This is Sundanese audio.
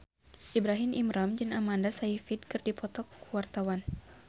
Ibrahim Imran jeung Amanda Sayfried keur dipoto ku wartawan